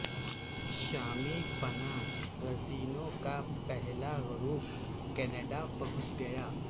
شامی پناہ گزینوں کا پہلا گروپ کنیڈا پہنچ گیا